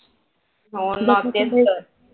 हो ना तेच तर